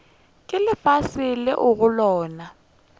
ke lefase leo go lona